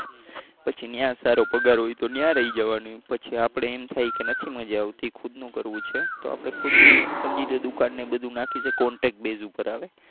પછી ત્યાં સારો પગાર હોય તો ત્યાં રહી જવાનું પછી આપણે એમ થાય કે નથી મજા આવતી ખુદનું કરવું છે તો આપણે ખુદની સમજી લો દુકાન ને એ બધુ નાખી લેવાનું contact base ઉપર આવે